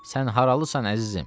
Sən haralısan, əzizim?